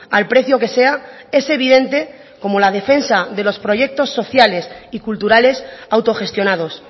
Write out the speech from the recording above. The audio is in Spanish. al precio que sea es evidente como la defensa de los proyectos sociales y culturales autogestionados